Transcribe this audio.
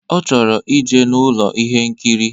Ọ chọrọ ije n'Ụlọ ihe nkiri.